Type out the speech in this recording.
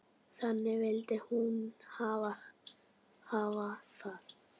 Þannig vildi hún hafa það.